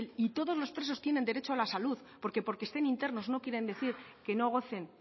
y todos los presos tienen derecho a la salud porque porque estén internos no quieren decir que no gocen